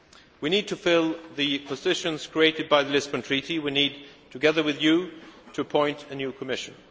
names. We need to fill the positions created by the Lisbon Treaty. We need, together with you, to appoint a new Commission.